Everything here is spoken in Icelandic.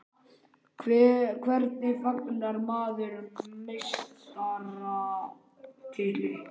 Hvernig fagnar maður meistaratitli?